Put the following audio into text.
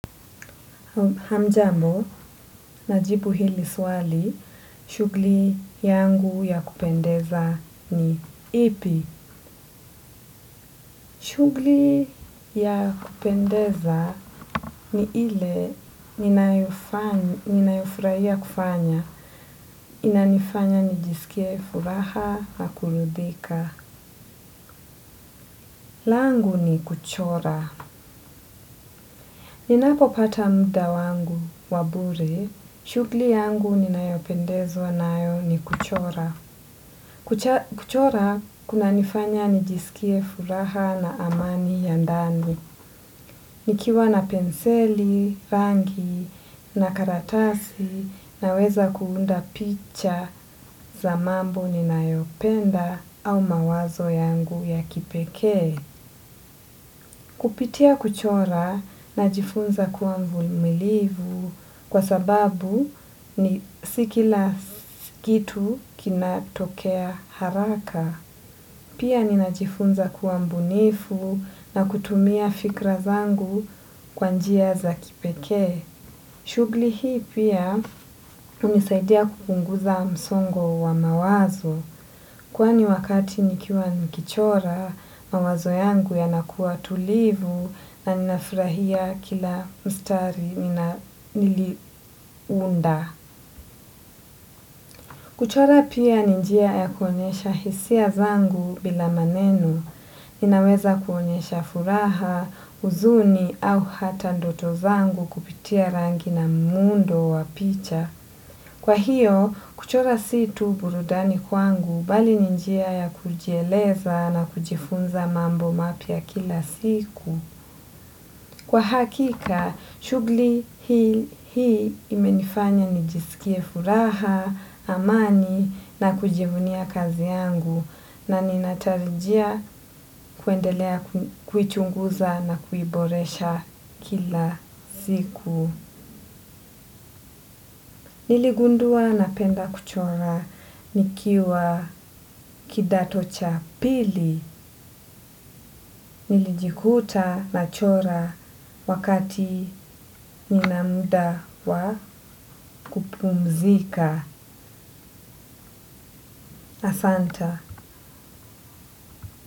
Hamjambo, najibu hili swali, shugli yangu ya kupendeza ni ipi. Shugli ya kupendeza ni ile ninayofraia kufanya. Inanifanya, nijisikea, furaha, na kuridhika. Langu ni kuchora. Ninapopata mda wangu wa bure, shugli yangu ninayopendezwa nayo ni kuchora. Kuchora kuna nifanya nijisikie furaha na amani ya ndani. Nikiwa na penseli, rangi, na karatasi naweza kuunda picha za mambo ninayopenda au mawazo yangu ya kipekee. Kupitia kuchora najifunza kuwa mvumilivu kwa sababu ni si kila kitu kinatokea haraka. Pia ninajifunza kuwa mbunifu na kutumia fikra zangu kwa njia za kipekee. Shugli hii pia hunisaidia kupunguza msongo wa mawazo. Kwani wakati nikiwa nikichora, mawazo yangu yanakuwa tulivu na ninafrahia kila mstari niliunda. Kuchora pia ni njia ya kuonyesha hisia zangu bila maneno. Ninaweza kuonyesha furaha, uzuni au hata ndoto zangu kupitia rangi na muundo wa picha. Kwa hiyo, kuchora si tu burudani kwangu bali ni njia ya kujieleza na kujifunza mambo mapya kila siku. Kwa hakika, shugli hii imenifanya nijisikie furaha, amani na kujivunia kazi yangu na ninatarijia kuendelea kuichunguza na kuiboresha kila siku. Niligundua napenda kuchora nikiwa kidato cha pili. Nilijikuta nachora wakati nina mda wa kupumzika asanta.